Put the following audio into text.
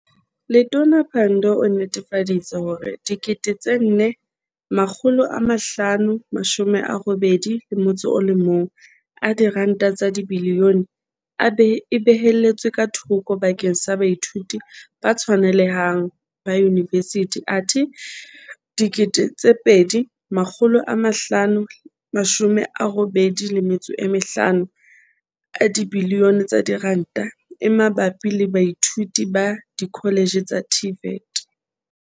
Letona Pandor o nnetefa ditse hore R4.581 biliyone e beheletswe ka thoko bakeng sa baithuti ba tshwanele hang ba yunivesithi athe R2.585 biliyone e mabapi le baithuti ba dikholetjhe tsa TVET.